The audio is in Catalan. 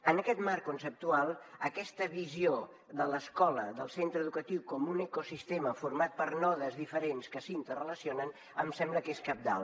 en aquest marc conceptual aquesta visió de l’escola del centre educatiu com un ecosistema format per nodes diferents que s’interrelacionen em sembla que és cabdal